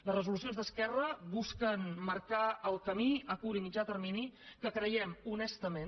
les resolucions d’esquerra busquen marcar el camí a curt i mitjà termini que creiem honestament